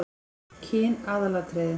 Kyn aðalatriði?